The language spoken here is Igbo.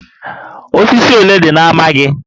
Osisi ole dị na ámá gị?